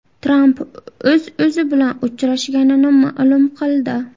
Tramp o‘z-o‘zi bilan uchrashganini ma’lum qildi.